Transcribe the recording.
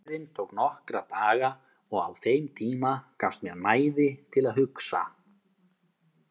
Biðin tók nokkra daga og á þeim tíma gafst mér næði til að hugsa.